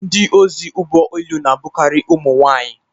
Ndi ozi ụgbọ elu na-abụkarị ụmụ nwanyị